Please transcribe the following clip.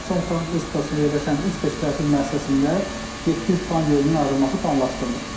Naxçıvan Muxtar Respublikasında yerləşən üç peşə təhsil müəssisəsində 700 plan yerinin ayrılması planlaşdırılır.